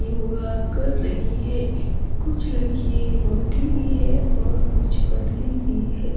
योगा कर रही है कुछ लड़की मोटी भी है और कुछ पतली भी हैं।